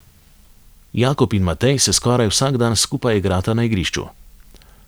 Jakob in Matej se skoraj vsak dan skupaj igrata na igrišču.